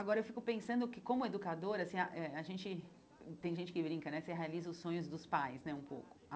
Agora eu fico pensando que como educadora, assim ah eh a gente hum tem gente que brinca né, você realiza os sonhos dos pais né um pouco.